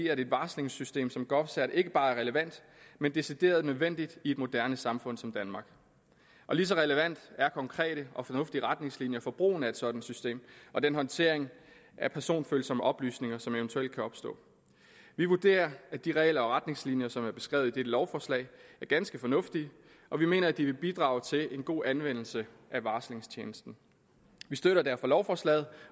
at et varslingssystem som govcert ikke bare er relevant men decideret nødvendigt i et moderne samfund som danmark og lige så relevant er konkrete og fornuftige retningslinjer for brugen af et sådant system og den håndtering af personfølsomme oplysninger som eventuelt kan opstå vi vurderer at de regler og retningslinjer som er beskrevet i dette lovforslag er ganske fornuftige og vi mener at de vil bidrage til en god anvendelse af varslingstjenesten vi støtter derfor lovforslaget